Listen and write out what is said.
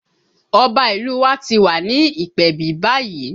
Ọba ìlú u wa ti wà ní ìpèbí báyìí